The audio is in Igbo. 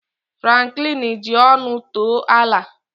Franklin ji ọṅụ too Allà